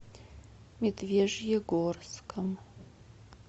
медвежьегорском